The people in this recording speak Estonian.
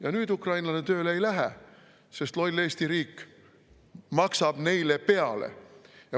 " Ja nüüd ukrainlane tööle ei lähe, sest loll Eesti riik maksab neile peale.